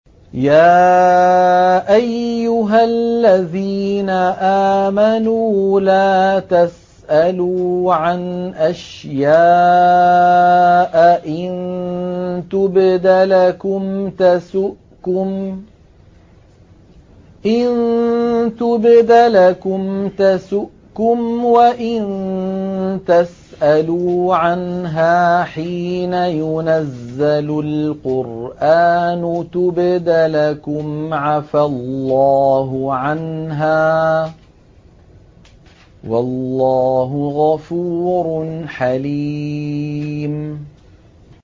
يَا أَيُّهَا الَّذِينَ آمَنُوا لَا تَسْأَلُوا عَنْ أَشْيَاءَ إِن تُبْدَ لَكُمْ تَسُؤْكُمْ وَإِن تَسْأَلُوا عَنْهَا حِينَ يُنَزَّلُ الْقُرْآنُ تُبْدَ لَكُمْ عَفَا اللَّهُ عَنْهَا ۗ وَاللَّهُ غَفُورٌ حَلِيمٌ